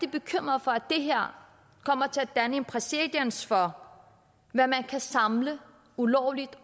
bekymret for at det her kommer til at danne præcedens for hvad man kan samle ulovligt